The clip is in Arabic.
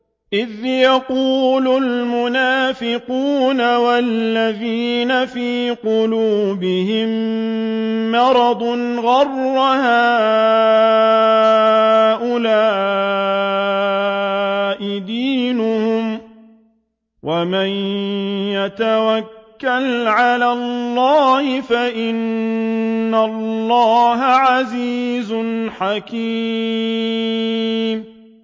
إِذْ يَقُولُ الْمُنَافِقُونَ وَالَّذِينَ فِي قُلُوبِهِم مَّرَضٌ غَرَّ هَٰؤُلَاءِ دِينُهُمْ ۗ وَمَن يَتَوَكَّلْ عَلَى اللَّهِ فَإِنَّ اللَّهَ عَزِيزٌ حَكِيمٌ